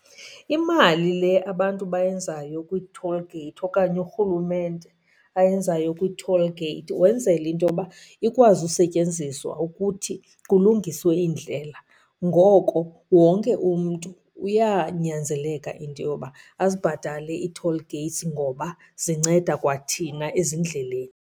Imali le abantu bayenzayo kwii-toll gate okanye urhulumente ayenzayo kwii-toll gate wenzela into yoba ikwazi usetyenziswa ukuthi kulungiswe iindlela. Ngoko wonke umntu uyanyanzeleka into yoba azibhatale ii-toll gates ngoba zinceda kwa thina ezindleleni.